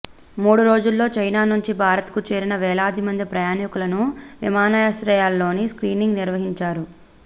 మూడు రోజుల్లో చైనా నుంచి భారత్కు చేరిన వేలాది మంది ప్రయాణికులను విమానాశ్రయాల్లోనే స్క్రీనింగ్ నిర్వహించారు